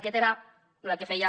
aquest era el que feia